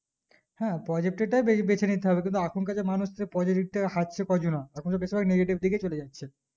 হ্যাঁ positive টা বেবেছে নিতে হবে কিন্তু আখন কার যা মানুষ positive হাটছে ক-জনা এখন তো বেশি ভাগ negative দিকে যাচ্ছে